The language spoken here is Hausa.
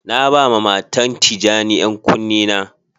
Na ba ma matan tijani yan kuni na.